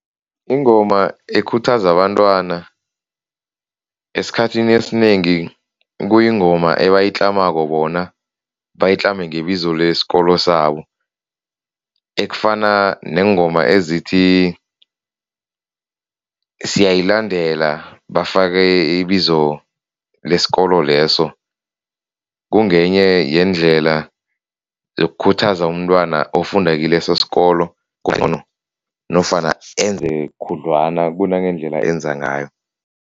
Ingoma ekhuthaza abantwana esikhathini esinengi kuyingoma ebayitlamako bona, bayitlame ngebizo lesikolo sabo, ekufana neengoma ezithi siyayilandela bafake ibizo lesikolo leso. Kungenye yendlela yokukhuthaza umntwana ofundako kileso sikolo nofana enze khudlwana kunangendlela enza ngayo.